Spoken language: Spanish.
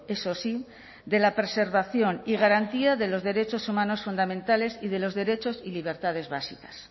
eso sí de la preservación y garantía de los derechos humanos fundamentales y de los derechos y libertades básicas